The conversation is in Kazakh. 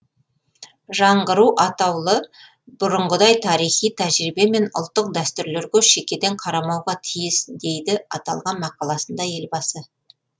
жаңғыру атаулы бұрынғыдай тарихи тәжірибе мен ұлттық дәстүрлерге шекеден қарамауға тиіс дейді аталған мақаласында елбасы